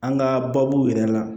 An ka baabu yɛrɛ la